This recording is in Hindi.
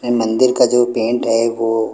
ये मंदिर का जो पेंट है वो--